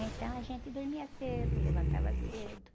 Então a gente dormia cedo, levantava cedo.